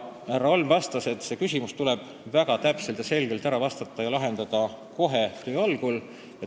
Härra Holm vastas, et see küsimus tuleb väga täpselt ja selgelt ära lahendada kohe töö algul.